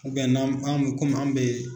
n'an mi an mi komi an bɛ